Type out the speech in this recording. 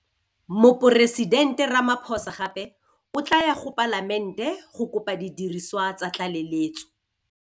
Moporesidente Ramaphosa gape o tla ya go Palamente go kopa didiriswa tsa tlaleletso.